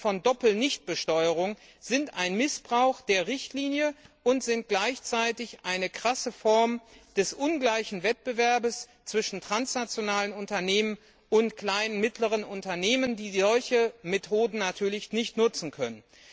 von Doppelnichtbesteuerung sind ein Missbrauch der Richtlinie und gleichzeitig eine krasse Form des ungleichen Wettbewerbs zwischen transnationalen Unternehmen und kleinen und mittleren Unternehmen, die solche Methoden natürlich nicht nutzen können.